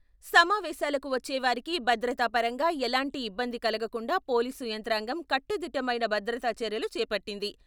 సమావేశాలకు వచ్చే వారికి భద్రతపరంగా ఎలాంటి ఇబ్బంది కలగకుండా పోలీసు యంత్రాంగం కట్టుదిట్టమైన భద్రతా చర్యలు చేపట్టింది.